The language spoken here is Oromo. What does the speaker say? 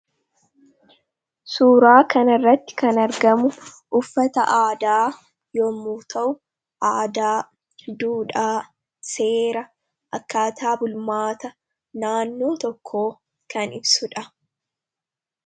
Suuraa kana irratti kan argamu uffata aadaa yommuu ta'u, aadaa, duudhaa, seera, akkaataa bulmaata naannoo tokkoo kan ibsuudha.